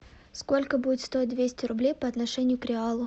сколько будет стоить двести рублей по отношению к реалу